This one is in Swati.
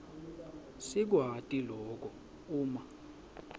sikwati loku uma